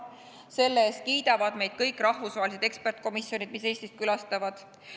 Selle eest kiidavad meid kõik rahvusvahelised eksperdikomisjonid, kes Eestit külastavad.